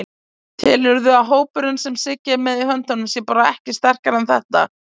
Telurðu að hópurinn sem Siggi er með í höndunum sé bara ekki sterkari en þetta?